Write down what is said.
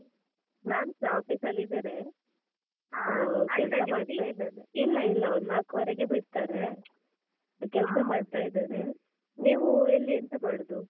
ನಾನ್ ಸ office ಅಲ್ಲಿದ್ದೇನೆ. ಇಲ್ಲ ಇಲ್ಲ ಒಂದ್ ನಾಲ್ಕು ವರೆಗೆ ಬಿಡ್ತಾರೆ. ಈಗ ಕೆಲ್ಸ ಮಾಡ್ತಾ ಇದ್ದೇನೆ, ನೀವೂ ಎಲ್ಲಿ ಎಂತ ಮಾಡುದು?